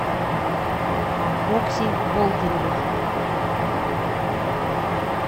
окси болдыревой